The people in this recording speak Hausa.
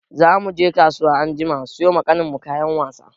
Za mu je kasuwa anjima siyo ma ƙanin mu kayan wasa.